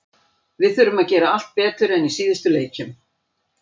Við þurfum að gera allt betur en í síðustu leikjum.